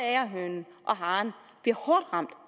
agerhønen og haren bliver hårdt ramt